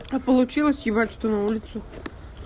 а получилось ебать что на улицу